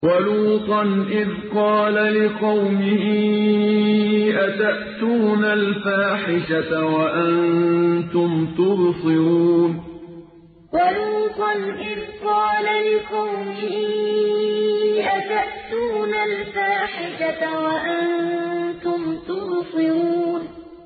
وَلُوطًا إِذْ قَالَ لِقَوْمِهِ أَتَأْتُونَ الْفَاحِشَةَ وَأَنتُمْ تُبْصِرُونَ وَلُوطًا إِذْ قَالَ لِقَوْمِهِ أَتَأْتُونَ الْفَاحِشَةَ وَأَنتُمْ تُبْصِرُونَ